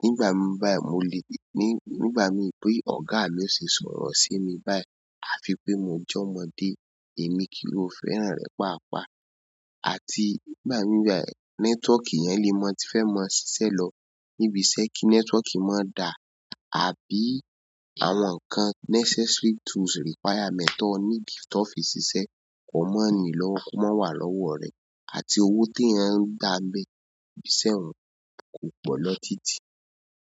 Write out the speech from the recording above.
nígbà míì báyìí, mo le, ní nígbà míì pé ọ̀gá mi ó ṣe sọ̀rọ̀ sí mi báyìí, à fi pé mo jẹ́ ọmọdé, èmi kì í ò fẹ́ràn an rẹ̀ páàpáà. Àti nígbà míì báyìí, network yẹn le ma ti fẹ́ ma ṣiṣẹ́ lọ níbi iṣẹ́ kí network má da, àbí àwọn nǹkan necessary tools requirement to need tọ ọ́ fi ṣiṣẹ́ kọ má ni lọ́wọ́ kó má wà lọ́wọ́ ọ̀ rẹ, àti owó téyàn ń gbà ń bẹ̀ ńbi iṣẹ́ ọ̀hun kò pọ̀ lọ títí.